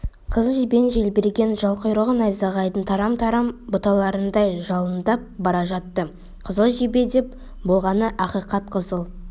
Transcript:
қызыл жебенің желбіреген жал-құйрығы найзағайдың тарам-тарам бұталарындай жалындап бара жатты қызыл жебе деп болғаны ақиқат қызыл